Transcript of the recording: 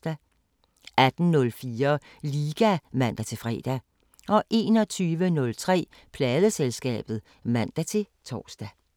18:04: Liga (man-fre) 21:03: Pladeselskabet (man-tor)